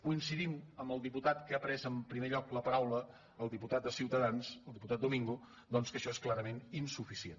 coincidim amb el diputat que ha pres en primer lloc la paraula el diputat de ciutadans el diputat domingo doncs que això és clarament insuficient